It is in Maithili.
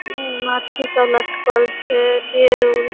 उ नाछी सब लटकल छे पेड़ उड़ --